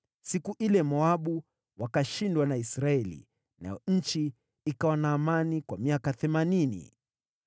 Siku ile Moabu wakashindwa na Israeli, nayo nchi ikawa na amani kwa miaka themanini.